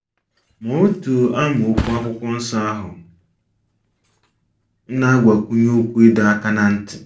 Ma otu amaokwu akwụkwọ nsọ ahụ na - agbakwụnye okwu ịdọ aka ná ntị.